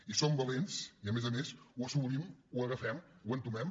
i som valents i a més a més ho assumim ho agafem ho entomem